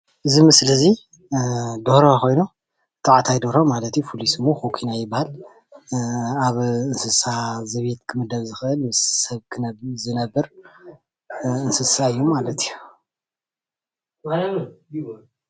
እዚ ምስሊ እዚ ደርሆ ኾይኑ ተባዕታይ ደርሆ ማለት እዩ ፋሉይ ስሙ ኾኩናይ ይበሃል። ኣብ እንስሳ ዘቤት ኽምደብ ዝኽእል ምስ ሰብ ዝነብር እንስሳ እዩ ማለት እዩ።